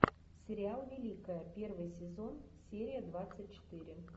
сериал великая первый сезон серия двадцать четыре